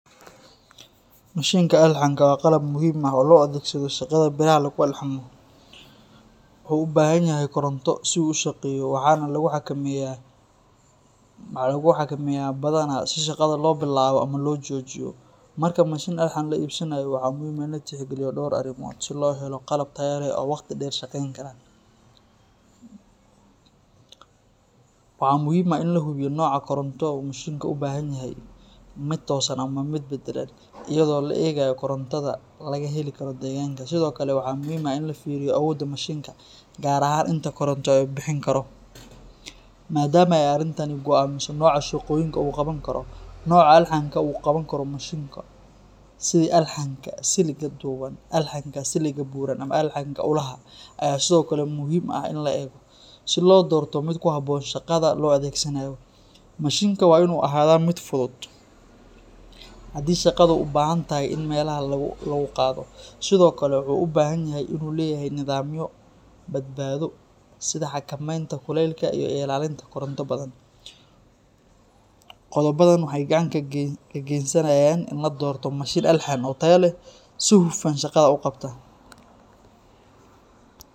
Mashinka alxanka waa qalab muhiim ah oo loo adeegsado shaqada biraha lagu alxamo. Wuxuu u baahan yahay koronto si uu u shaqeeyo, waxaana lagu xakameeyaa badhan si shaqada loo bilaabo ama loo joojiyo. Marka mashin alxan la iibsanayo, waxaa muhiim ah in la tixgeliyo dhowr arrimood si loo helo qalab tayo leh oo waqti dheer shaqayn kara. Waxaa muhiim ah in la hubiyo nooca koronto uu mashinku u baahan yahay, mid toosan ama mid beddelan, iyadoo la eegayo korontada laga heli karo deegaanka. Sidoo kale waxaa muhiim ah in la fiiriyo awoodda mashinka, gaar ahaan inta koronto ee uu bixin karo, maadaama ay arrintani go’aamiso nooca shaqooyinka uu qaban karo. Nooca alxanka uu qaban karo mashinku, sida alxanka siligga dhuuban, alxanka siligga buuran ama alxanka ulaha, ayaa sidoo kale muhiim ah in la eego, si loo doorto mid ku habboon shaqada loo adeegsanayo. Mashinka waa inuu ahaadaa mid fudud haddii shaqadu u baahan tahay in meelaha lagu qaado, sidoo kale wuxuu u baahan yahay inuu leeyahay nidaamyo badbaado sida xakamaynta kulaylka iyo ilaalinta koronto badan. Qodobadan waxay gacan ka geysanayaan in la doorto mashin alxan oo tayo leh oo si hufan shaqada u qabta